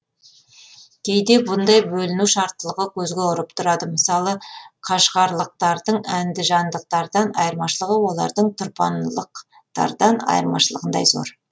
кейде бұндай бөліну шарттылығы көзге ұрып тұрады мысалы қашғарлықтардың әндіжандықтардан айырмашылығы олардың тұрпанлықтардан айырмашылығындай зор